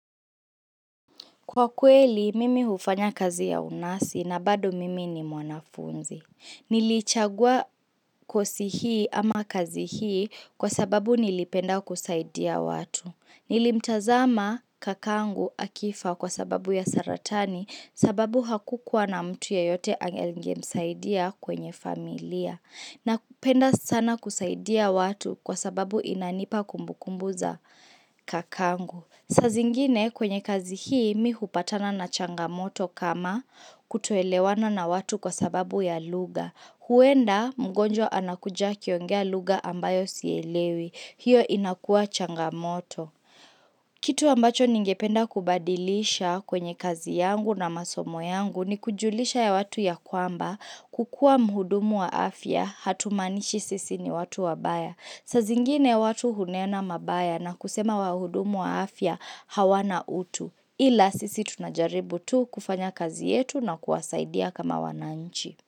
Kwa kweli, mimi hufanya kazi ya unasi na bado mimi ni mwanafunzi. Nilichagua kosi hii ama kazi hii kwa sababu nilipenda kusaidia watu. Nilimtazama kakangu akifa kwa sababu ya saratani sababu hakukuwa na mtu yeyote angemsaidia kwenye familia. Na kupenda sana kusaidia watu kwa sababu inanipa kumbukumbu za kakangu. Sazingine kwenye kazi hii mihupatana na changamoto kama kutuelewana na watu kwa sababu ya lugha. Huenda mgonjo anakuja kiongea lugha ambayo sielewi. Hiyo inakua changamoto. Kitu ambacho ningependa kubadilisha kwenye kazi yangu na masomo yangu ni kujulisha ya watu ya kwamba kukua muhudumu wa afya hatumanishi sisi ni watu wabaya. Saa zingine watu hunena mabaya na kusema wahudumu wa afya hawana utu ila sisi tunajaribu tu kufanya kazi yetu na kuwasaidia kama wananchi.